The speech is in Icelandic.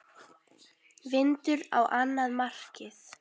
Vindur á annað markið.